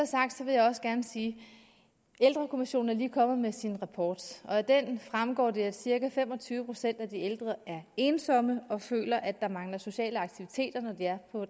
sagt vil jeg også gerne sige at ældrekommissionen lige er kommet med sin rapport og af den fremgår det at cirka fem og tyve procent af de ældre er ensomme og føler at der mangler sociale aktiviteter når de er på